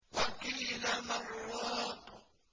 وَقِيلَ مَنْ ۜ رَاقٍ